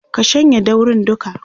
ka shanye daurin duka!